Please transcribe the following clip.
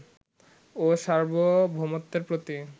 ও সার্বভৗমত্বের প্রতি